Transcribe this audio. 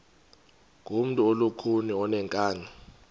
ngumntu olukhuni oneenkani